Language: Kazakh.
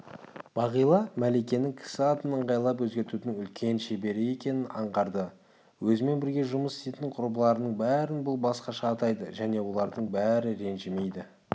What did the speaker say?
бағила мәликенің кісі атын ыңғайлап өзгертудің үлкен шебері екенін аңғарды өзімен бірге жұмыс істейтін құрбыларының бәрін бұл басқаша атайды және олардың бәрі ренжімейді